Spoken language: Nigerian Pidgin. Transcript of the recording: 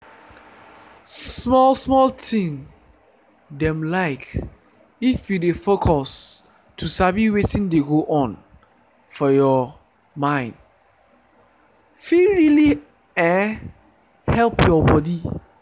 small small thing dem like if you dey focus to sabi wetin dey go on for your mind fit really eh help your body.